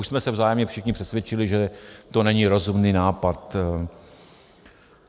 Už jsme se vzájemně všichni přesvědčili, že to není rozumný nápad.